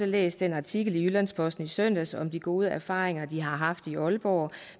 læst den artikel i jyllands posten i søndags om de gode erfaringer de har haft i aalborg